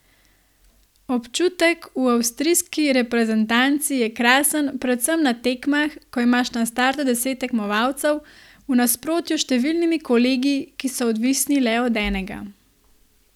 Občutek v avstrijski reprezentanci je krasen predvsem na tekmah, ko imaš na startu deset tekmovalcev, v nasprotju s številnimi kolegi, ki so odvisni le od enega.